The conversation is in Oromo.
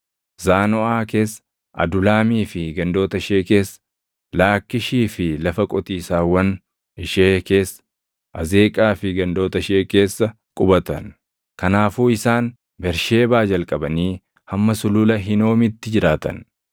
Zaanoʼaa keessa, Adulaamii fi gandoota ishee keessa, Laakkiishii fi lafa qotiisaawwan ishee keessa, Azeeqaa fi gandoota ishee keessa qubatan. Kanaafuu isaan Bersheebaa jalqabanii hamma Sulula Hinoomitti jiraatan.